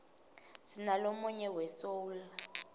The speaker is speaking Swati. sinalomuye we soul